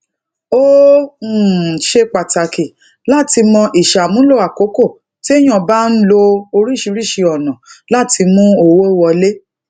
ó um ṣe pàtàkì láti mo isamulo àkókò teyan bá ń lo oríṣiríṣi ònà lati mu owó wole